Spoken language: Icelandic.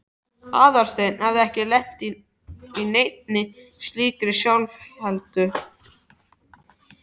Aðalsteinn hafði ekki lent í neinni slíkri sjálfheldu.